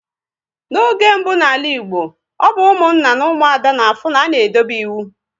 Na oge ochie na ala Igbo, ọ bụ Ụmụnna na Umuada na afụ na-a na edobe ịwụ